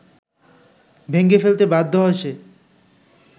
ভেঙে ফেলতে বাধ্য হয় সে